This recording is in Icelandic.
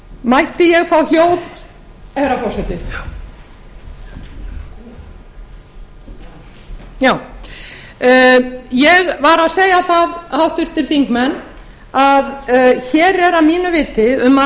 mætti ég fá hljóð herra forseti ég var að segja það háttvirtir þingmenn að hér er að mínu viti um að